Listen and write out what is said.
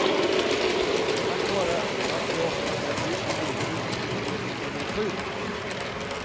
Tack vare att du oftast är frisk lider du mycket mer när du är sjuk.